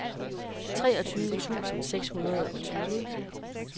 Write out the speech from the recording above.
treogtyve tusind seks hundrede og tyve